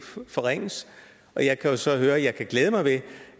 forringes og jeg kan jo så høre at jeg kan glæde mig ved